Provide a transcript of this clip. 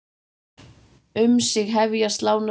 Um sig hefja slánar slátt.